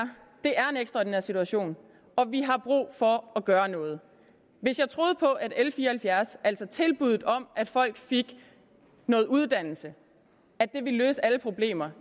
en ekstraordinær situation og vi har brug for at gøre noget hvis jeg troede på at l fire og halvfjerds altså tilbuddet om at folk fik noget uddannelse ville løse alle problemer